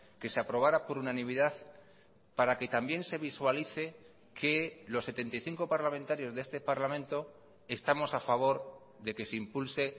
que se aprobara por unanimidad para que también se visualice que los setenta y cinco parlamentarios de este parlamento estamos a favor de que se impulse